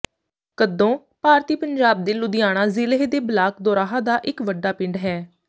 ਕੱਦੋਂ ਭਾਰਤੀ ਪੰਜਾਬ ਦੇ ਲੁਧਿਆਣਾ ਜ਼ਿਲ੍ਹੇ ਦੇ ਬਲਾਕ ਦੋਰਾਹਾ ਦਾ ਇੱਕ ਵੱਡਾ ਪਿੰਡ ਹੈ